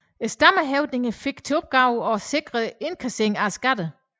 Stammehøvdingene fik til opgave at sikre indkasseringen af skatterne